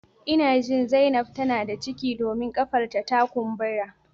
Ina jin zainab tana da ciki domin kafar ta ta kumbura